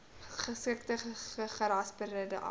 geskilde gerasperde appels